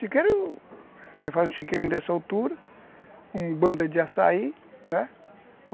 Chiqueiro, você faz um chiqueirinho dessa altura, um bando de açaí, né?